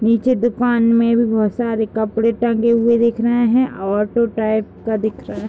नीचे दुकान में भी बहुत सारी कपड़े टंगे हुए दिख रहे हैं। ऑटो टाइप का दिख रहा है।